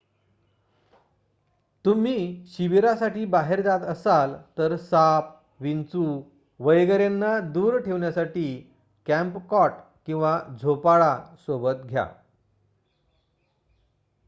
तुम्ही शिबिरासाठी बाहेर जात असाल तर साप विंचू वगैरेंना दूर ठेवण्यासाठी कॅम्प कॉट किंवा झोपाळा सोबत घ्या